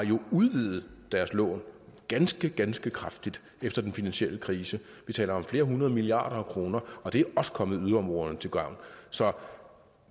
udvidet deres lån ganske ganske kraftigt efter den finansielle krise vi taler om flere hundrede milliarder af kroner og det er også kommet yderområderne til gavn så